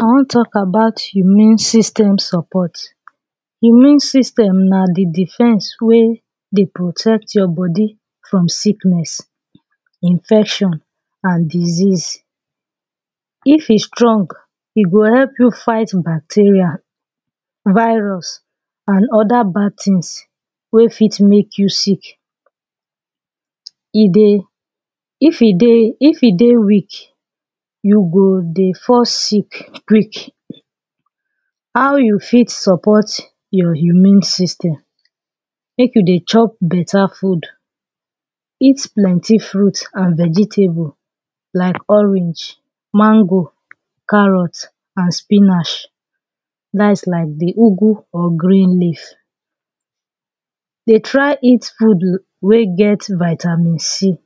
i wan talk about immune system support Immune system na the defense wey dey protect your body from sickness, infection and disease If e strong e go help you fight bacteria, virus and other bad things wey fit make you sick e dey if e dey weak you go dey fall sick quick How you fit support your immune system make you dey chop better food eat plenty fruit and vegetable like orange, mango, carrot and spinach na that’s like the ugwu or green leaf. Dey try eat food wey get vitamin c